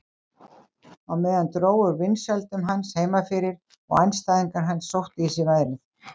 Á meðan dró úr vinsældum hans heima fyrir og andstæðingar hans sóttu í sig veðrið.